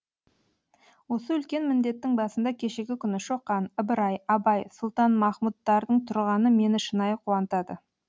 осы үлкен міндеттің басында кешегі күні шоқан ыбырай абай сұлтанмахмұттардың тұрғаны мені шынайы қуантады